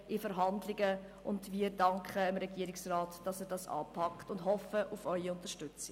Wir danken dem Regierungsrat, dass er dies anpackt, und wir hoffen auf Ihre Unterstützung.